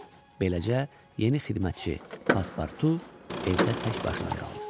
Beləcə yeni xidmətçi Paspurtu evdə tək başına qaldı.